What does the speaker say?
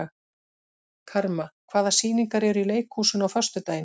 Karma, hvaða sýningar eru í leikhúsinu á föstudaginn?